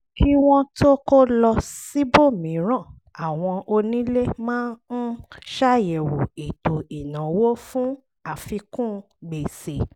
kí wọ́n tó kó lọ síbòmíràn àwọn onílé máa ń ṣàyẹ̀wò ètò ìnáwó fún àfikún gbèsè